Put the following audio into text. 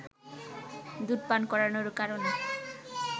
দুধ পান করানোর কারণে